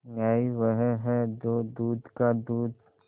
न्याय वह है जो दूध का दूध